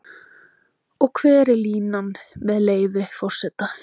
Og hver er línan, með leyfi forseta?